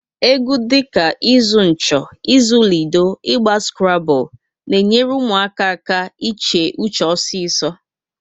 Egwu dị ka ịzụ ncho, ịzụ lido, Ịgba skrable na enyere ụmụaka iche uche ọsọ ọsọ